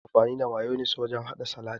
Ana amfani da mayonis wurin haɗa salat